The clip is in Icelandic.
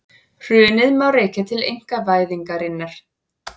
Hrunið má rekja til einkavæðingarinnar